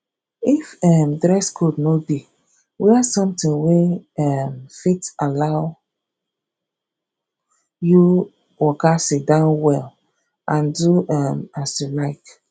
if um dress code no de wear something wey um fit allow you waka sitdown well and do um as you like